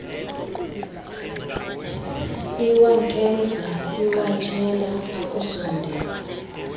iwankemza iwatshela akusondela